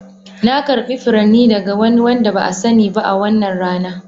Na karbi furanni daga wani wanda ba a sani ba a wannan rana.